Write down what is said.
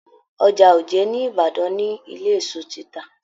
Ọjà òjé ní ìbàdàn ni ilé èso tita.